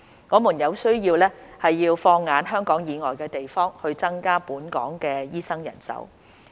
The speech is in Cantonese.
我們有需要放眼香港以外的地方，以增加本港醫生人手。